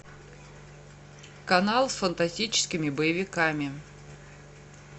канал с фантастическими боевиками